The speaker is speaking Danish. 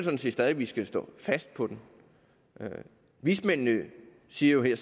stadig at vi skal stå fast på den vismændene siger jo